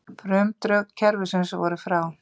Frumdrög kerfisins voru frá